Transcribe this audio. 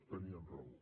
tenien raó